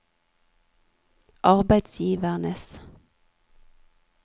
arbeidsgivernes